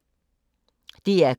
DR K